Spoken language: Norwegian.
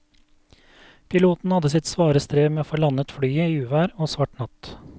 Piloten hadde sitt svare strev med å få landet flyet i uvær og svart natt.